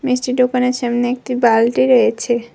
মিষ্টির দোকানের সামনে একটি বালটি রয়েছে।